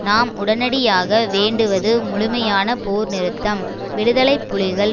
நாம் உடனடியாக வேண்டுவது முழுமையான போர் நிறுத்தம் விடுதலை புலிகள்